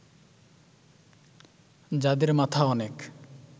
যাদের মাথা অনেক